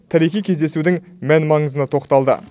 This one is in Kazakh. тарихи кездесудің мән маңызына тоқталды